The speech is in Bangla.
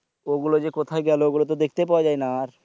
ওগুলো যে কোথায় গেলো ওগুলো তো দেখতেই পাওয়া যায়না আর